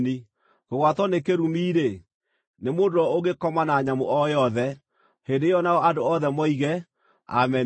“Kũgwatwo nĩ kĩrumi-rĩ, nĩ mũndũ ũrĩa ũngĩkoma na nyamũ o yothe.” Hĩndĩ ĩyo nao andũ othe moige, “Ameni!”